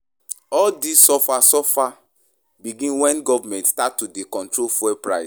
All dis suffer suffer begin wen government start to dey control fuel price.